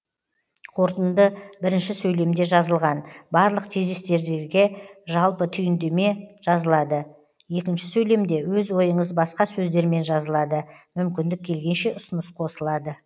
қорытынды бірінші сөйлемде жазылған барлық тезистердерге жалпы түйіндеме жазылады екінші сөйлемде өз ойыңыз басқа сөздермен жазылады мүмкіндік келгенше ұсыныс қосылады